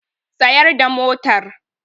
Tsayar da motar!